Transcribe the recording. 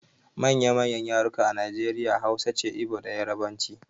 Manya manyan yarurruka a Nijeriya Hausa ce, Ibo da yarbanci